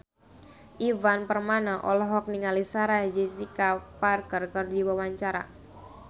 Ivan Permana olohok ningali Sarah Jessica Parker keur diwawancara